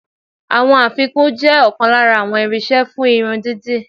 Àwọn afikún jẹ́ ọ̀kan lára àwọn irinṣẹ́ fún irun dídì.